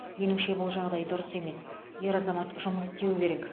меніңше бұл жағдай дұрыс емес ер азамат жұмыс істеуі керек